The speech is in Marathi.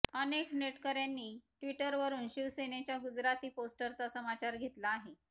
अनेक नेटकऱ्यांनी ट्विटरवरुन शिवसेनेच्या गुजराती पोस्टरचा समाचार घेतला आहे